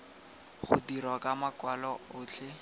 go dirwa ka makwalo otlhe